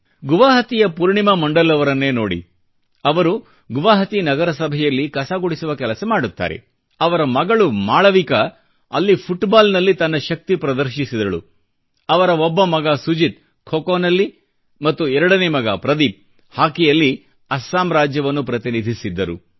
ಗುವಹಾಟಿಯ ಪೂರ್ಣಿಮಾ ಮಂಡಲ್ ಅವರನ್ನೇ ನೋಡಿ ಅವರು ಗುವಹಾಟಿ ನಗರಸಭೆಯಲ್ಲಿ ಕಸಗುಡಿಸುವ ಕೆಲಸ ಮಾಡುತ್ತಾರೆ ಆದರೆ ಅವರ ಮಗಳು ಮಾಳವಿಕಾ ಅಲ್ಲಿ ಫುಟ್ಬಾಲ್ನಲ್ಲಿ ತನ್ನ ಶಕ್ತಿ ಪ್ರದರ್ಶಿಸಿದಳು ಅವರ ಒಬ್ಬ ಮಗ ಸುಜಿತ್ ಖೋಖೋನಲ್ಲಿ ಮತ್ತು ಎರಡನೇ ಮಗ ಪ್ರದೀಪ್ ಹಾಕಿಯಲ್ಲಿ ಅಸ್ಸಾಂ ರಾಜ್ಯವನ್ನು ಪ್ರತಿನಿಧಿಸಿದ್ದರು